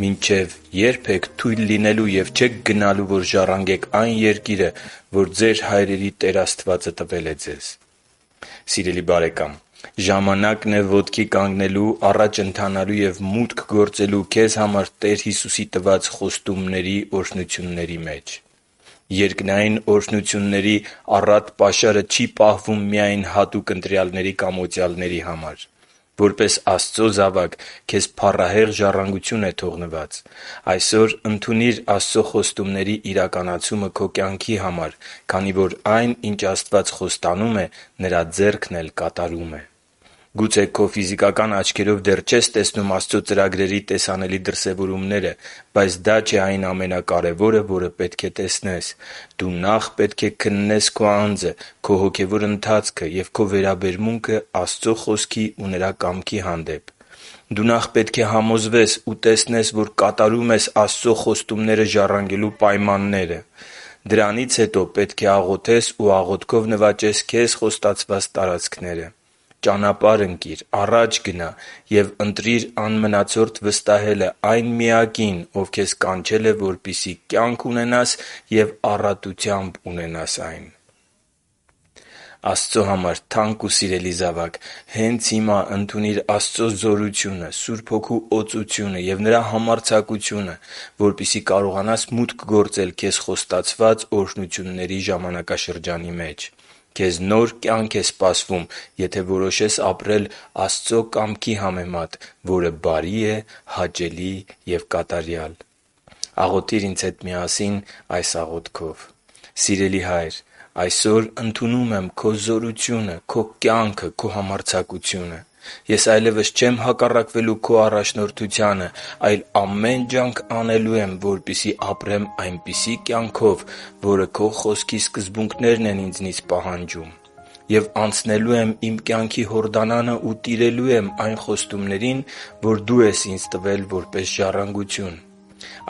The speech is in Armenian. «Մինչև ե՞րբ եք թույլ լինելու և չեք գնալու, որ ժառանգեք այն երկիրը, որ ձեր հայրերի Տեր Աստվածը տվել է ձեզ» (Հեսու 18.3): Սիրելի՛ բարեկամ, ժամանակն է ոտքի կանգնելու, առաջ ընթանալու և մուտք գործելու քեզ համար Տեր Հիսուսի տված խոստումների օրհնությունների մեջ։ Երկնային օրհնությունների առատ պաշարը չի պահվում միայն հատուկ ընտրյալների կամ օծյալների համար։ Որպես Աստծո զավակ քեզ փառահեղ ժառանգություն է թողնված։ Այսօր, ընդունի՛ր Աստծո խոստումների իրականացումը քո կյանքի համար, քանի որ այն ինչ Աստված խոստանում է, Նրա ձեռքն էլ կատարում է։ Գուցե քո ֆիզիկական աչքերով դեռ չես տեսնում Աստծո ծրագրերի տեսանելի դրսևորումները, բայց դա չէ այն ամենակարևորը, որը պետք է տեսնես։ Դու նախ պետք է քննես քո անձը, քո հոգևոր ընթացքը և քո վերաբերմունքը Աստծո Խոսքի ու Նրա կամքի հանդեպ։ Դու նախ պետք է համոզվես ու տեսնես, որ կատարում ես Աստծո խոստումները ժառանգելու պայմանները։ Դրանից հետո պետք է աղոթես ու աղոթքով նվաճես քեզ խոստացված տարածքները։ Ճանապա՛րհ ընկիր, առա՛ջ գնա և ընտրի՛ր անմնացորդ վստահելը այն Միակին, Ով քեզ կանչել է, որպեսզի կյանք ունենաս և առատությամբ ունենաս այն։ Աստծո համար թանկ ու սիրելի՛ զավակ, հենց հիմա ընդունի՛ր Աստծո զորությունը, Սուրբ Հոգու օծությունը և Նրա համարձակությունը, որպեսզի կարողանաս մուտք գործել քեզ խոստացված օրհնությունների ժամանակաշրջանի մեջ։ Քեզ նոր կյանք է սպասվում, եթե որոշես ապրել Աստծո կամքի համեմատ, որը բարի է, հաճելի և կատարյալ։ Աղոթիր ինձ հետ միասին այս աղոթքով. «Սիրելի՛ Հայր, այսօր ընդունում եմ Քո զորությունը, Քո կյանքը և Քո համարձակությունը։ Ես այլևս չեմ հակառակվելու Քո առաջնորդությանը, այլ ամեն ջանք անելու եմ, որպեսզի ապրեմ այնպիսի կյանքով, որը Քո Խոսքի սկզբունքներն են ինձնից պահանջում։ Եվ անցնելու իմ կյանքի Հորդանանը ու տիրելու եմ այն խոստումներին, որ Դու ես ինձ տվել որպես ժառանգություն։